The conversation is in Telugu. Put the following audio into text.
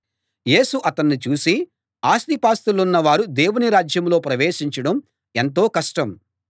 యేసు అతన్ని చూసి ఆస్తిపాస్తులున్న వారు దేవుని రాజ్యంలో ప్రవేశించడం ఎంతో కష్టం